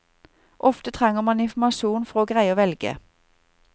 Ofte trenger man informasjon for å greie å velge.